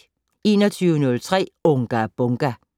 21:03: Unga Bunga!